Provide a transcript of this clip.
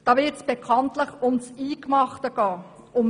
Dann wird es bekanntlich um das Eingemachte gehen: